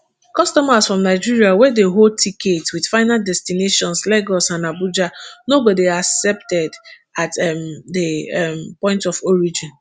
customers from nigeria wey dey hold tickets with final destinations lagos and abuja no go dey accepted at um di um point of origin